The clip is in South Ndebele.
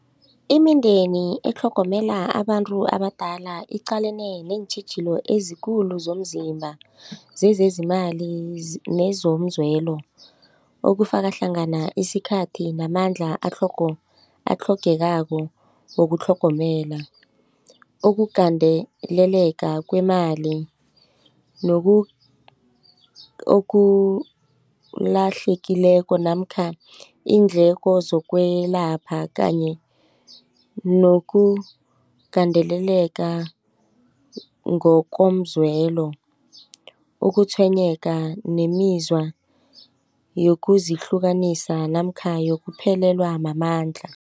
Imindeni etlhogomela abantu abadala iqalene neentjhijilo ezikulu zomzimba zezezimali nezomzwelo okufaka hlangana isikhathi namandla atlhogekako wokutlhogomela. Ukugandeleleka kwemali nokulahlekileko namkha iindleko zokwelapha kanye nokugandeleleka ngokomzwelo ukutshwenyeka nemizwa yokuzihlukanisa namkha yokuphelelwa mamandla.